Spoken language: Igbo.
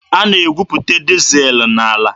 A na-egwuputa dizel n'ala.